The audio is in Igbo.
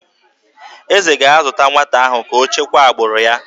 Eze ga-azụta nwata ahụ ka o chekwaa agbụrụ ya